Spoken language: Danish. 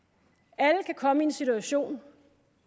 alle kan komme i en situation